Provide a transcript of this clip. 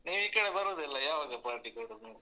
ನೀವ್ ಈಕಡೆ ಬರುದಿಲ್ಲ ಯಾವಾಗ party ಕೊಡುದು?